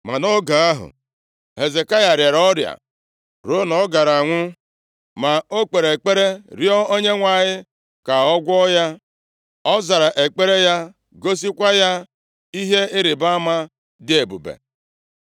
Ma nʼoge ahụ, Hezekaya rịara ọrịa, ruo na ọ gaara anwụ. Ma o kpere ekpere rịọ Onyenwe anyị ka ọ gwọọ ya. Ọ zara ekpere ya, gosikwa ya ihe ịrịbama dị ebube.